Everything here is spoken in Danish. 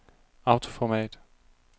autoformat